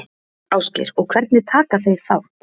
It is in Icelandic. Ásgeir: Og hvernig taka þeir þátt?